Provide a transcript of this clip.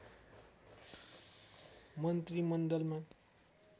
मन्त्रीमण्डलमा